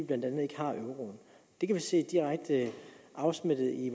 blandt andet ikke har euroen det kan vi se direkte afspejlet i